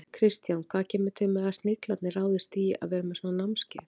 Kristján, hvað kemur til að Sniglarnir ráðist í að vera með svona námskeið?